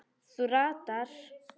Þú ratar.